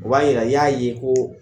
O ba yira , i y'a ye ko